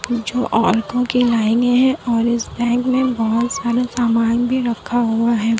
वो जो औरतों की लाइन है और इस बैंक में बहुत सारा सामान भी रखा हुआ है।